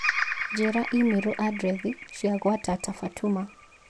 Njĩĩra i-mīrū andirethi cia gwa tata Fatuma